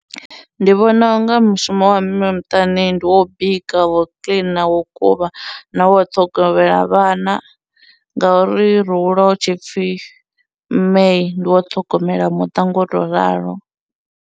Ndi vhona unga mushumo wa mme muṱani ndi wo bika, wo clean, wo kuvha, na wo ṱhogomela vhana ngauri ro hula hu tshipfhi mme ndi wo ṱhogomela muṱa ngo tou ralo.